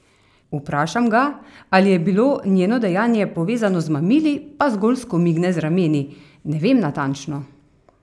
Vprašam ga, ali je bilo njeno dejanje povezano z mamili, pa zgolj skomigne z rameni: "Ne vem natančno.